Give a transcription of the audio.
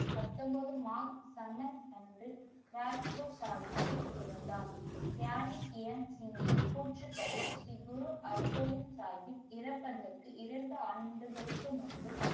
பத்தொன்பது மார்ச் அன்று ஜாஜ்பூர் சாகிப்ல் பிறந்தார். கியான் கெயின் சிங்ன் கூற்றுப்படி ஸ்ரீ குரு அர்கோவிந்த் சாஹிப் இறப்பதற்கு இரண்டு ஆண்டுகளுக்கு முன்பு.